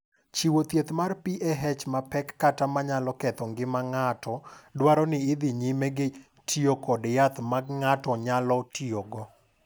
"Chiwo thieth mar PAH mapek kata ma nyalo ketho ngima ng’ato nyalo dwaro ni idhi nyime gi tiyo kod yath ma ng’ato nyalo tiyogo."